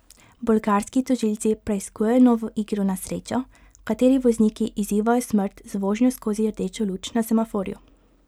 Bolgarski tožilci preiskujejo novo igro na srečo, v kateri vozniki izzivajo smrt z vožnjo skozi rdečo luč na semaforju.